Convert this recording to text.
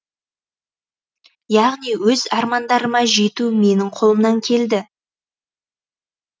яғни өз армандарыма жету менің қолымнан келді